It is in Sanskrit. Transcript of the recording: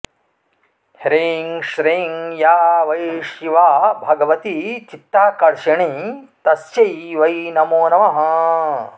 ह्रीं श्रीं या वै शिवा भगवती चित्ताकर्षिणी तस्यै वै नमो नमः